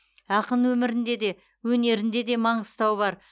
ақын өмірінде де өнерін де де маңғыстау бар